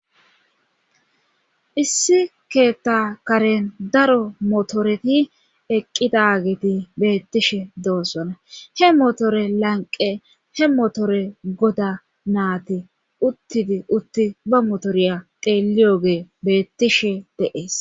Issi keetta karen daro motoreti eqqidageti beettishe doossona he motore lanqe he motore goda naati uttidi utti ba motoriya teeliyoge beettishe de7ees.